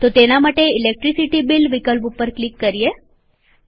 તો તેના માટે ઈલેકટ્રીસીટી બીલ વિકલ્પ ઉપર ક્લિક કરીએ